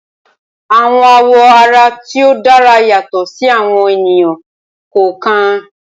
Awọn awọ ara ti o dara yatọ si awọn eniyan kọọkan.